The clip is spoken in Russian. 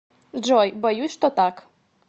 джой боюсь что так